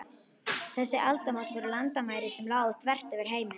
Þessi aldamót voru landamæri sem lágu þvert yfir heiminn.